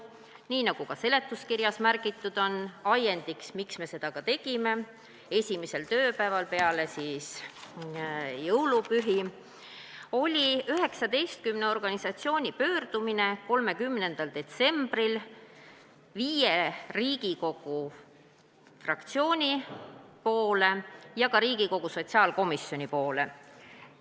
Nii nagu seletuskirjas märgitud, oli ajendiks, miks me seda ka tegime esimesel tööpäeval peale jõulupühi, 19 organisatsiooni pöördumine 30. detsembril viie Riigikogu fraktsiooni ja ka Riigikogu sotsiaalkomisjoni poole.